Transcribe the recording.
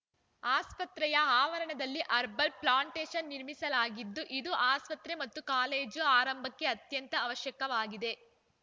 ಆಸ್ಪತ್ರೆಯ ಆವರಣದಲ್ಲಿ herbal plantation ನಿರ್ಮಿಸಲಾಗಿದ್ದು ಇದು ಆಸ್ಪತ್ರೆ ಮತ್ತು ಕಾಲೇಜು ಆರಂಭಕ್ಕೆ ಅತ್ಯಂತ ಅವಶ್ಯಕವಾಗಿದೆ